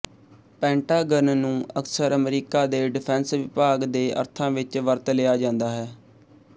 Pentagon ਨੂੰ ਅਕਸਰ ਅਮਰੀਕਾ ਦੇ ਡਿਫੈਂਸ ਵਿਭਾਗ ਦੇ ਅਰਥਾਂ ਵਿੱਚ ਵਰਤ ਲਿਆ ਜਾਂਦਾ ਹੈ